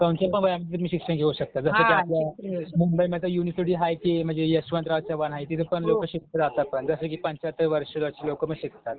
कोणच्यापण वयामध्ये तुम्ही शिक्षण घेऊ शकता, जसं की मुंबईमध्ये युनिव्हर्सिटी हाय ती म्हणजे यशवंतराव चव्हाण हाय तिथं पण लोक शिकायला जातात. पण जसं की पंच्याहत्तर वर्षाची लोकपण जातात